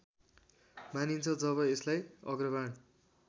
मानिन्छ जब यसलाई अग्रबाण